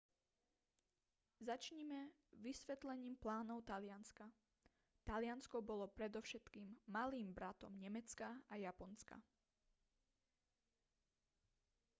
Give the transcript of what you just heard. začnime vysvetlením plánov talianska taliansko bolo predovšetkým malým bratom nemecka a japonska